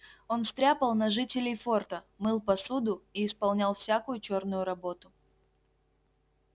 он стряпал на жителей форта мыл посуду и исполнял всякую чёрную работу